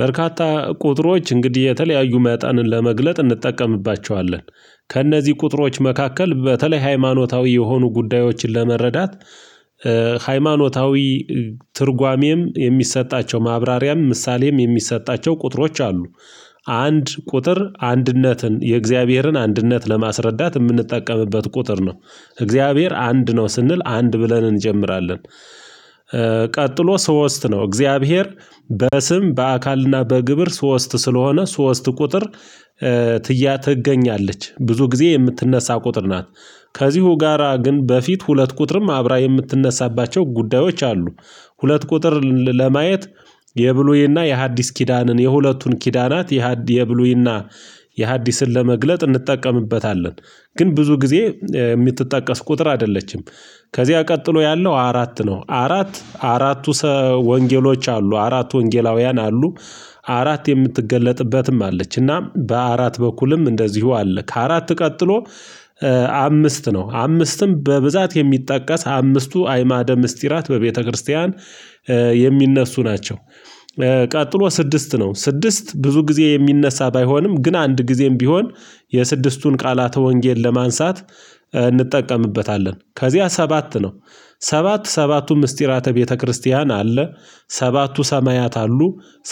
በርካታ ቁጥሮች እንግዲህ የተለያዩ መጠንን ለመግለጥ እንጠቀምባቸዋለን። ከእነዚህ ቁጥሮች መካከል በተለይ ሃይማኖታዊ የሆኑ ጉዳዮችን ለመረዳት ሃይማኖታዊ ትርጓሜም የሚሰጣቸው ማብራሪያም ምሳሌም የሚሰጣቸው ቁጥሮች አሉ። አንድ ቁጥር አንድነትን የእግዚአብሔርን አንድነት ለማስረዳት የምንጠቀምበት ቁጥር ነው እግዚአብሔር አንድ ነው ስንል አንድ ብለን እንጀምራለን። ቀጥሎ ሶስት ነው እግዚአብሔር በስም በአካልና በግብር ሶስት ስለሆነ ሶስት ቁጥር። ትያ ትገኛለች ብዙ ጊዜ የምትነሳ ቁጥር ናት። ከዚሁ ጋራ ግን በፊት ሁለት ቁጥርም አብራ የምትነሳባቸው ጉዳዮች አሉ። ሁለት ቁጥር ልል ለማየት የብሉይና የሐዲስ ኪዳንን የሁለቱን ኪዳናት የሐዲ የብሉይና የሐዲስን ለመግለጥ እንጠቀምበታለን። ግን ብዙ ጊዜ የምትጠቀስ ቁጥር አይደለችም። ከዚያ ቀጥሎ ያለው አራት ነው አራት አራቱ ሰ ወንጌሎች አሉ አራቱ ወንጌላውያን አሉ። አራት የምትገለጥበትም አለች እና በአራት በኩልም እንደዚሁ አለ ከአራት ቀጥሎ። አምስት ነው አምስትም በብዛት የሚጠቀስ አምስቱ አእማደ ምስጢራት በቤተክርስቲያን የሚነሱ ናቸው። ቀጥሎ ስድስት ነው ስድስት ብዙ ጊዜ የሚነሳ ባይሆንም ግን አንድ ጊዜም ቢሆን የስድስቱን ቃላተ ወንጌል ለማንሳት እንጠቀምበታለን። ከዚያ ሰባት ነው ሰባት ሰባቱ ምስጢራተ ቤተክርስቲያን አለ። ሰባቱ ሰማያት አሉ።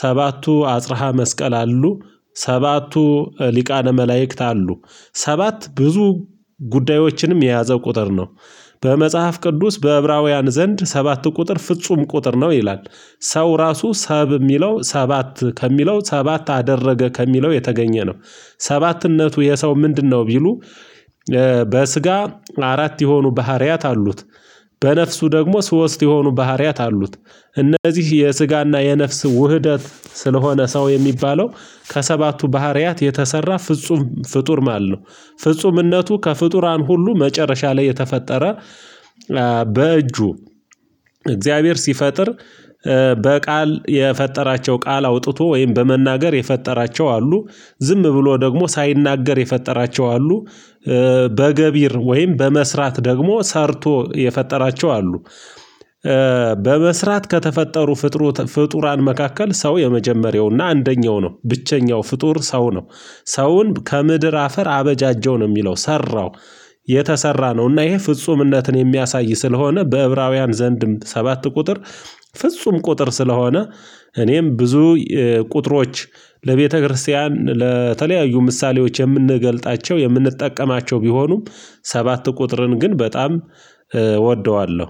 ሰባቱ አጽራሃ መስቀል አሉ። ሰባቱ ሊቃነ መላእክት አሉ። ሰባት ብዙ ጉዳዮችንም የያዘ ቁጥር ነው። በመጽሐፍ ቅዱስ በዕብራውያን ዘንድ ሰባት ቁጥር ፍጹም ቁጥር ነው ይላል። ሰው ራሱ ሰብ የሚለው ሰባት ከሚለው ሰባት አደረገ ከሚለው የተገኘ ነው። ሰባትነቱ የሰው ምንድነው? ቢሉ በስጋ አራት የሆኑ ባህሪያት አሉት። በነፍሱ ደግሞ ሶስት የሆኑ ባህሪያት አሉት። እነዚህ የስጋና የነፍስ ውህደት ስለሆነ ሰው የሚባለው ከሰባቱ ባህሪያት የተሰራ ፍጹም ፍጡር ማለት ነው። ፍጹምነቱ ከፍጡራን ሁሉ መጨረሻ ላይ የተፈጠረ። በእጁ እግዚአብሔር ሲፈጥር በቃል የፈጠራቸው ቃል አውጥቶ ወይም በመናገር የፈጠራቸው አሉ። ዝም ብሎ ደግሞ ሳይናገር የፈጠራቸው አሉ። በገቢር ወይም በመስራት ደግሞ ሰርቶ የፈጠራቸው አሉ። በመስራት ከተፈጠሩ ፍጡርት ፍጡራን መካከል ሰው የመጀመሪያውና አንደኛው ነው ብቸኛው ፍጡር ሰው ነው። ሰውን ከምድር አፈር አበጃጀው ነው የሚለው ሰራው። የተሰራ ነው እና ይሄ ፍጹምነትን የሚያሳይ ስለሆነ በዕብራውያን ዘንድም ሰባት ቁጥር ፍጹም ቁጥር ስለሆነ። እኔም ብዙ ቁጥሮች ለቤተክርስቲያን ለተለያዩ ምሳሌዎች የምንገልጣቸው የምንጠቀማቸው ቢሆኑም ሰባት ቁጥርን ግን በጣም እወደዋለሁ